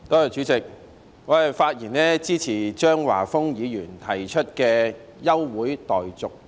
主席，我發言支持張華峰議員提出的休會待續議案。